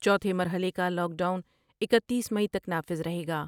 چوتھے مرحلے کالاک ڈاؤن اکتیس مئی تک نافذ رہے گا ۔